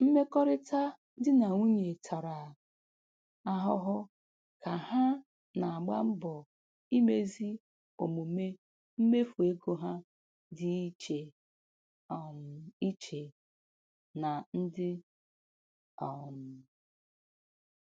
Mmekọrịta di na nwunye tara ahụhụ ka ha na-agba mbọ imezi omume mmefu ego ha dị iche um iche na ndị. um